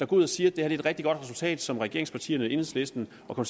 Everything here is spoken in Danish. går ud og siger at det er et rigtig godt resultat som regeringspartierne enhedslisten og